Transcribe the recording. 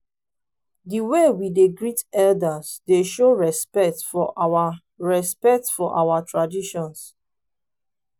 di way we dey greet elders dey show respect for our respect for our traditions.